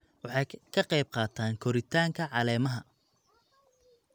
Waxay ka qayb qaataan koritaanka caleemaha.